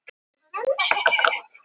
Prestum og munkum fækkar